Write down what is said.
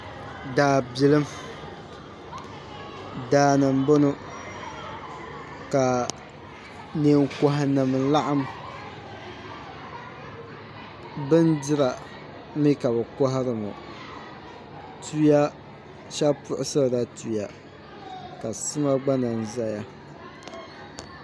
Daabilim daani n boŋo ka neen koha nim laɣam bindira mii ka bi kohari ŋo shab puɣusirila tuya ka sima gba lahi ʒɛya